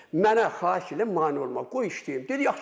Mənə xahiş edirəm mane olmayın, qoy işləyim.